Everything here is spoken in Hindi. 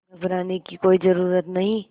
घबराने की कोई ज़रूरत नहीं